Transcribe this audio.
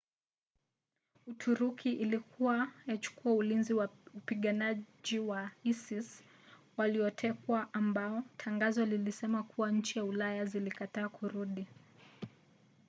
uturuki ilikua yachukua ulinzi wa wapiganaji wa isis waliotekwa ambao tangazo lilisema kuwa nchi za ulaya zilikataa kurudi